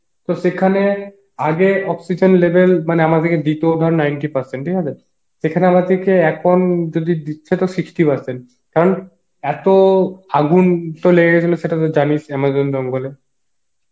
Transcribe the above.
তো সেখানে আগে oxygen level মানে আমাদেরকে দিতো over ninety percent ঠিক আছে সেখানে আমাদেরকে এখন যদি দিচ্ছে তো sixty percent কারণ এত আগুন তো লেগে গেছিল সেটা তো জানিস amazon জঙ্গলে